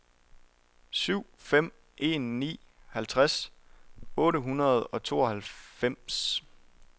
syv fem en ni halvtreds otte hundrede og tooghalvfems